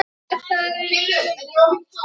Og mjög heppin!